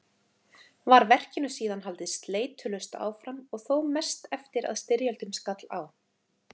Var verkinu síðan haldið sleitulaust áfram og þó mest eftir að styrjöldin skall á.